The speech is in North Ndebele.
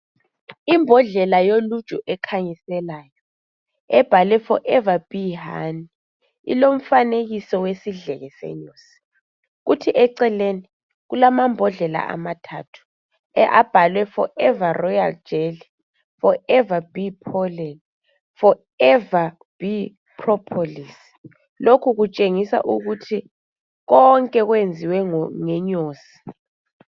Imbodlela yoluju ekhanyiselayo ebhaliwe forever bee honey ilomfanekiso wesidleke senyosi kuthi eceleni kulamambodlela amathathu ababhalwe forever royal jelly, forever bee pollen, forever bee propolis lokhu kutshengisa ukuthi konke kwenziwe ngenyosi.